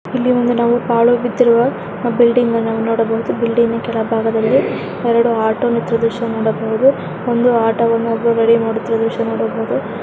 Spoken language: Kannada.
ಇಲ್ಲಿ ಒಂದು ನಾವು ಪಾಳು ಬಿದ್ದಿರುವ ಬಿಲ್ಡಿಂಗ್ ಅನ್ನು ನೋಡಬಹುದು ಬಿಲ್ಡಿಂಗ್ನ ಕೆಳ ಭಾಗದಲ್ಲಿ ಎರಡು ಆಟೋ ನಿಂತಿರುವ ದೃಶ್ಯವನ್ನು ನೋಡಬಹುದು ಒಂದು ಆಟೋ ವನ್ನು ಒಬ್ಬ ನೋಡುತ್ತಿರುವ ದೃಶ್ಯವನ್ನು ನೋಡಬಹುದು.